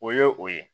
O ye o ye